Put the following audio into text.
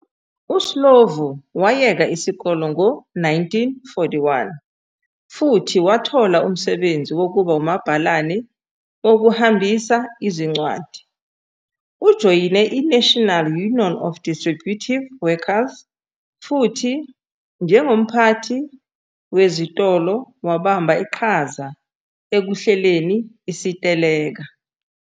USlovo wayeka isikole ngo-1941 futhi wathola umsebenzi wokuba umabhalane wokuhambisa izincwadi. Ujoyine iNational Union of Distributive Workers futhi, njengomphathi wezitolo, wabamba iqhaza ekuhleleni isiteleka.